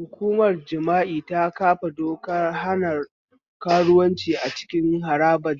Hukumar jami'a ta kafa dokar hana karuwanci a cikin harabar